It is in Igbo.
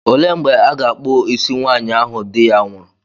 Olee mgbe a ga-akpụ isi nwaanyị ahụ di ya nwụrụ?